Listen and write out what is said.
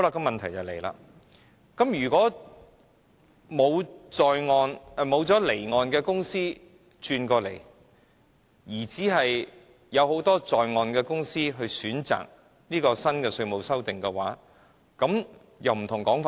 問題是，萬一沒有離岸的公司轉移來港，而只有很多在岸的公司選擇新的稅務修訂的話，情況就會不同了。